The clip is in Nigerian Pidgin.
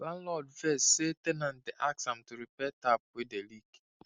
landlord vex say ten ant dey ask am to repair tap wey dey leak